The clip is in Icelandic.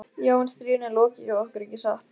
Já, en stríðinu er lokið hjá okkur, ekki satt?